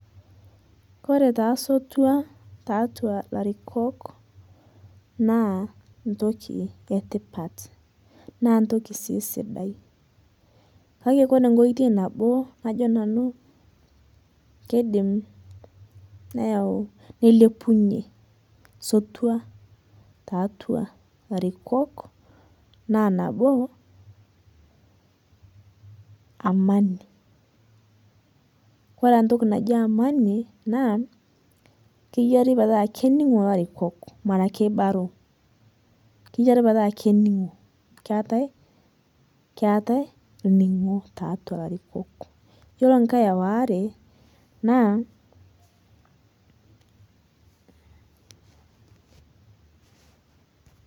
Kore taa sotua ta atuaa larikok naa ntokii etipaat naa ntokii sii sidai. Kaki kore nkotoi naboo najoo nanu keidiim neyauu neilepunyee sotua ta atuaa larikok naa naboo amani kore entokii najii amani naa keiyaari pee taa keining'oo larikok mara keibaroo, keiyaari pee taa kaining'oo keetai keetai ning'oo te atua larikok. Iyeloo nkaai aware naa.